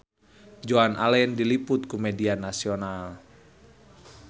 Joan Allen diliput ku media nasional